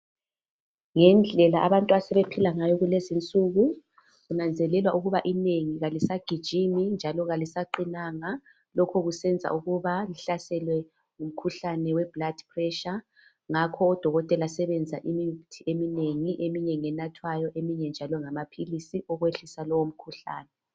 Ngendlela abantu asebephila ngayo kulezinsuku kunzanzelelwa ukuba inengi alisagijimi njalo kalisaqinanga lokhu kusenza ukuba ihlaselwe ngumkhuhlane we Blood Pessure ngakho ododkotela senza imithi eminengi, eminye ngenathwayo eminye ngamaphilisi okwehlisa lowo umkhuhlane